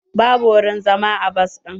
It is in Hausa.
Babu wurin zama a bas ɗin.